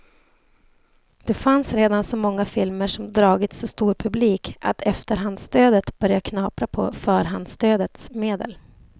Det fanns redan så många filmer som dragit så stor publik att efterhandsstödet börjat knapra på förhandsstödets medel.